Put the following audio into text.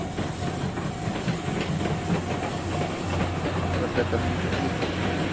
просто это мне привыкнуть надо